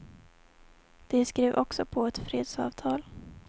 De skrev också på ett fredsavtal.